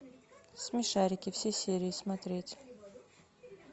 смешарики все серии смотреть